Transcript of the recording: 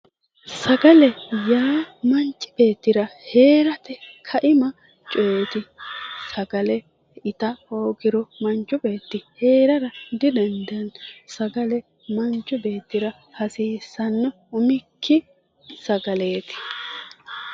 Sagale yaa manchi beettira heerate kaima coyeti, sagale itta hoogiro manchu beetti heerara didandaano, sagale manchu beettira hasiisano umikki sagaleti.